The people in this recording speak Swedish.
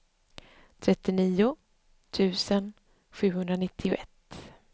trettionio tusen sjuhundranittioett